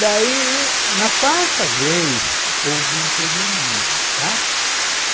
Daí, na quarta vez, houve um probleminha, né.